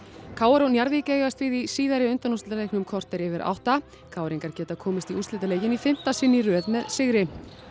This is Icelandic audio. k r og Njarðvík eigast við í síðari undanúrslitaleiknum klukkan korter yfir átta k r ingar geta komist í úrslitaleikinn í fimmta sinn í röð með sigri